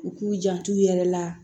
U k'u jantu yɛrɛ la